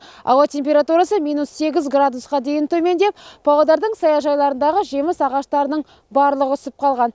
ауа температурасы минус сегіз градусқа дейін төмендеп павлодардың саяжайларындағы жеміс ағаштарының барлығы үсіп қалған